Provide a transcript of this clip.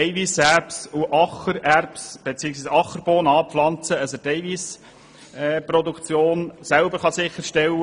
Er wird Eiweisserbsen bzw. Ackerbohnen anbauen, um die Proteinproduktion selber sicherzustellen.